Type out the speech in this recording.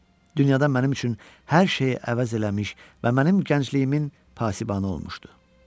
Dünyada mənim üçün hər şeyi əvəz eləmiş və mənim gəncliyimin pasibanı olmuşdu.